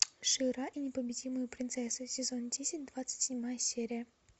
шира и непобедимые принцессы сезон десять двадцать седьмая серия